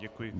Děkuji.